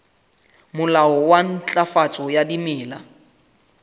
molao wa ntlafatso ya dimela